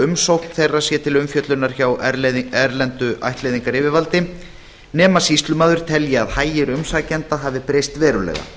umsókn þeirra sé til umfjöllunar hjá erlendu ættleiðingaryfirvaldi nema sýslumaður telji að hagir umsækjenda hafi breyst verulega